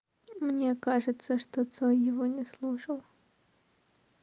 мне кажется что цой его не слушал